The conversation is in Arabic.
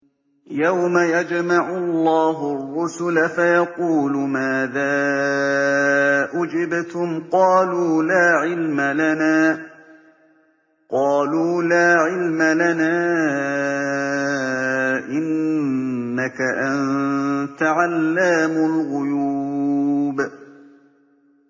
۞ يَوْمَ يَجْمَعُ اللَّهُ الرُّسُلَ فَيَقُولُ مَاذَا أُجِبْتُمْ ۖ قَالُوا لَا عِلْمَ لَنَا ۖ إِنَّكَ أَنتَ عَلَّامُ الْغُيُوبِ